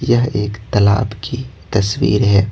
यह एक तालाब की तस्वीर है।